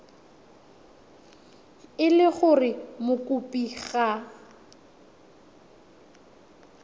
e le gore mokopi ga